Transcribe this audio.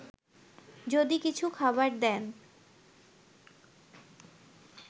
যদি কিছু খাবার দেন